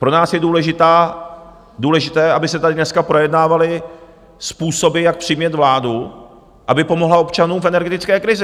Pro nás je důležité, aby se tady dneska projednávaly způsoby, jak přimět vládu, aby pomohla občanům v energetické krizi.